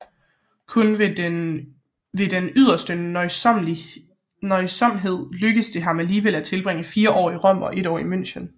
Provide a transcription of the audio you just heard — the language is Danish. Kun ved den yderste nøjsomhed lykkedes det ham alligevel at tilbringe fire år i Rom og et år i München